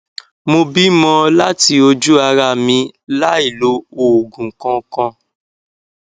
mo bímo láti ojú ara mi láì lo òògùn kankan